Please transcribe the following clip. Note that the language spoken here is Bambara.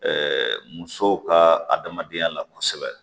musow ka adamadenya la kosɛbɛ